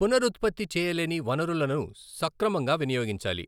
పునరుత్పత్తి చేయలేని వనరులను సక్రమంగా వినియోగించాలి.